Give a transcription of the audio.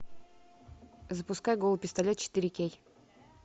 запускай голый пистолет четыре кей